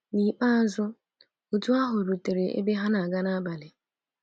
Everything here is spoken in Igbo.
N’ikpeazụ, otu ahụ rutere ebe ha na-aga n'abalị.